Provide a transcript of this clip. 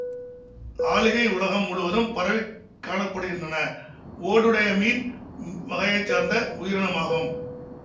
ஆளிகள் உலகம் முழுதும் பரவிக் காண படுகின்றன ஓடுடைய மீன் வகையை சார்ந்த உயிரினமாகும்